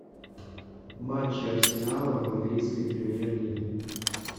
матчи арсенала в английской премьер лиге